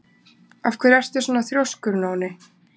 Af hverju ertu svona þrjóskur, Nóni?